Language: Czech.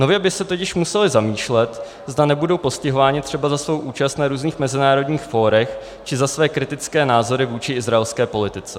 Nově by se totiž museli zamýšlet, zda nebudou postihováni třeba za svou účast na různých mezinárodních fórech či za své kritické názory vůči izraelské politice.